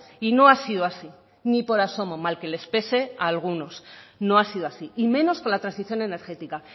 y no ha sido así ni por asomo mal que les pese a algunos no ha sido así y menos con la transición energética